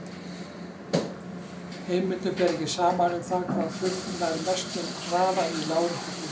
Heimildum ber ekki saman um það hvaða fugl nær mestum hraða í láréttu flugi.